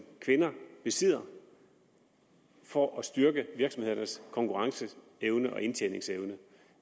kvinder besidder for at styrke virksomhedernes konkurrenceevne og indtjeningsevne